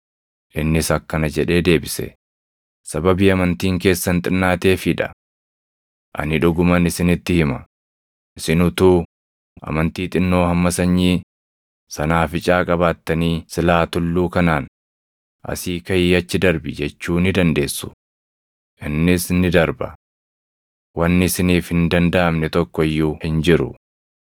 Innis akkana jedhee deebise; “Sababii amantiin keessan xinnaateefii dha. Ani dhuguman isinitti hima; isin utuu amantii xinnoo hamma sanyii sanaaficaa qabaattanii silaa tulluu kanaan, ‘Asii kaʼii achi darbi’ jechuu ni dandeessu; innis ni darba. Wanni isiniif hin dandaʼamne tokko iyyuu hin jiru. [ 21 Hafuurri hamaan akkanaa garuu soomaa fi kadhannaadhaan malee hin baʼu.”] + 17:21 Waraabbileen durii tokko tokko luqqisaa 21 hin qaban.